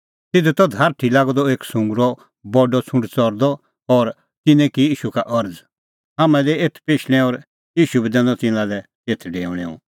तिधी त धारठी लागअ द एक सुंगरो बडअ छ़ुंड च़रदअ और तिन्नैं की ईशू का अरज़ हाम्हां दै एथ पेशणैं और ईशू बी दैनअ तिन्नां तेथ डेऊणैं